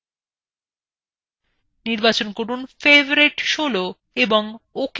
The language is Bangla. নির্বাচন করুন favorite ১৬ এবং ওকে বোতামে click করুন